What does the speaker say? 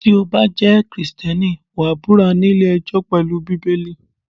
Tí o bá jẹ́ Kristẹni, wàá búra ní ilé ẹjọ́ pelu Bíbélì.